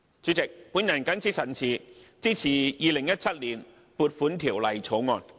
主席，我謹此陳辭，支持《2017年撥款條例草案》。